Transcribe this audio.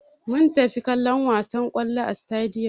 Mun tafi kallon wasar dambe a sitadiyom.